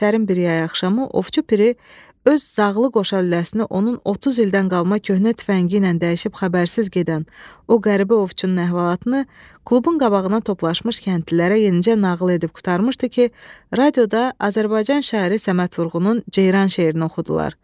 Sərin bir yay axşamı Ovçu Piri öz zağlı qoşalüləsini onun 30 ildən qalma köhnə tüfəngi ilə dəyişib xəbərsiz gedən o qəribə ovçunun əhvalatını klubun qabağına toplaşmış kəndlilərə yenicə nağıl edib qurtarmışdı ki, radioda Azərbaycan şairi Səməd Vurğunun Ceyran şeirini oxudular.